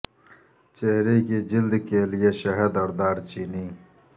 چہرے کی جلد کے لئے شہد اور دار چینی